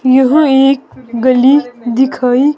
यहां एक गली दिखाई--